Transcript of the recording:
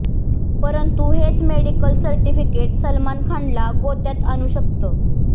परंतू हेच medical certificate Salman खानला गोत्यात आणू शकतं